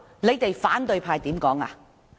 那時反對派怎樣說？